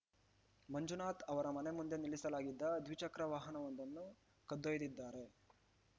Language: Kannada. ಮಂಜುನಾಥ್‌ ಅವರ ಮನೆ ಮುಂದೆ ನಿಲ್ಲಿಸಲಾಗಿದ್ದ ದ್ವಿಚಕ್ರ ವಾಹನವೊಂದನ್ನು ಕದ್ದೊಯ್ದಿದ್ದಾರೆ